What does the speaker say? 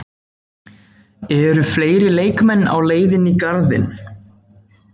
Eru fleiri leikmenn á leiðinni í Garðinn?